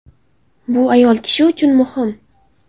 Bu ayol kishi uchun muhim.